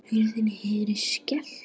Hurð heyrist skellt.